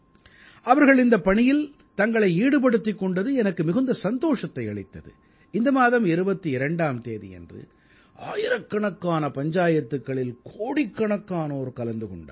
அவர்கள் இந்தப் பணியில் தங்களை ஈடுபடுத்திக் கொண்டது எனக்கு மிகுந்த சந்தோஷத்தை அளித்தது இந்த மாதம் 22ஆம் தேதியன்று ஆயிரக்கணக்கான பஞ்சாயத்துக்களில் கோடிக்கணக்கானோர் கலந்து கொண்டார்கள்